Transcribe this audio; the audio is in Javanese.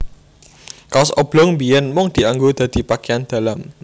Kaos oblong biyèn mung dianggo dadi pakeyan dalam